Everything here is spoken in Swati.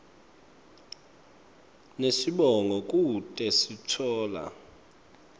nesibongo kute sitfola